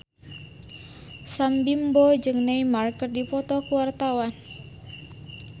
Sam Bimbo jeung Neymar keur dipoto ku wartawan